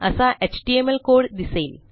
असा HTML code दिसेल